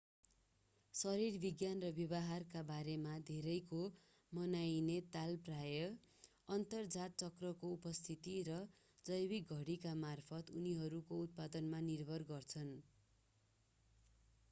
शरीरविज्ञान र व्यवहारका बारेमा धेरैको मनाइने ताल प्राय: अन्तरजात चक्रको उपस्थिति र जैविक घडीकामार्फत उनीहरूको उत्पादनमा निर्भर गर्छन्‌।